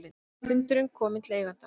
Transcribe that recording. Hundurinn kominn til eigandans